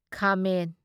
ꯈꯥꯃꯦꯟ